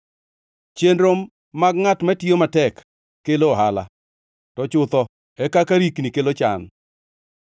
Chenro mag ngʼat matiyo matek kelo ohala to chutho e kaka rikni kelo chan.